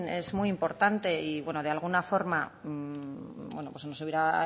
es muy importante y de alguna forma nos hubiera